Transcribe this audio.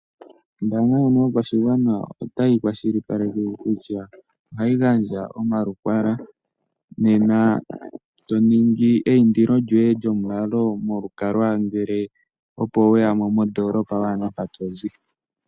Ombaanga ndjono yopashigwana otayi kwashilipaleke kutya ohayi gandja omalukalwa nena toningi eyindilo lyoye lyomulalo lyolukalwa ngele opo weyamo mondoolopa waana mpa tozi.